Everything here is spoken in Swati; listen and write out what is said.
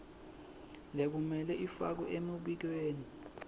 lekumele ifakwe emibikweni